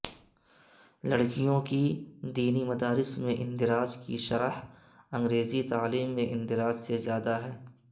لڑکیوں کے دینی مدارس میں اندراج کی شرح انگریزی تعلیم میں اندراج سے زیادہ ہے